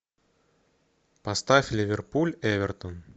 поставь ливерпуль эвертон